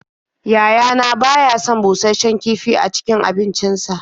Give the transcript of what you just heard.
Yayana ba ya son bushasshen kifi a cikin abincinsa.